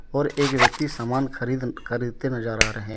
और एक व्यक्ति समान खरीद खरीदते नजर आ रहे हैं।